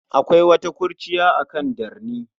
Akwai wata kurciya akan darni.